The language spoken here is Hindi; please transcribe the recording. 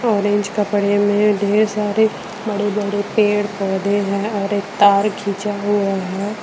ऑरेंज कपड़े में ढेर सारे बड़े बड़े पेड़ पौधे हैं और एक तार खींचा हुआ है ।